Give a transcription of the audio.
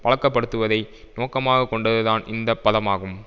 பழக்கப்படுத்துவதை நோக்கமாக கொண்டதுதான் இந்த பதமாகும்